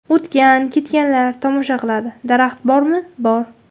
O‘tgan-ketganlar tomosha qiladi, daraxt bormi bor.